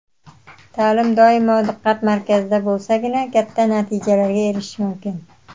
Ta’lim doimo diqqat markazda bo‘lsagina katta natijalarga erishish mumkin;.